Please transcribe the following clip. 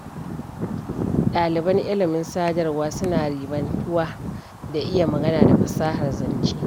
Ɗaliban ilimin sadarwa suna ribantuwa da iya magana da fasahar zance.